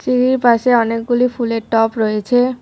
সিঁড়ির পাশে অনেকগুলি ফুলের টব রয়েছে।